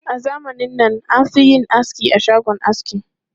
A zamanin nan, an fi yin aski a shagon aski.